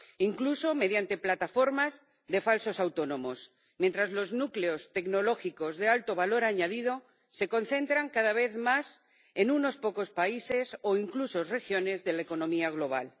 incluso mediante plataformas de falsos autónomos, mientras los núcleos tecnológicos de alto valor añadido se concentran cada vez más en unos pocos países, o incluso regiones, de la economía global.